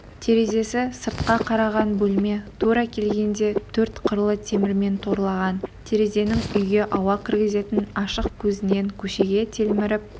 терезесі сыртқа қараған бөлме тура келгенде төрт қырлы темірмен торлаған терезенің үйге ауа кіргізетін ашық көзінен көшеге телміріп